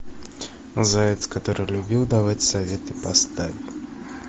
заяц который любил давать советы поставь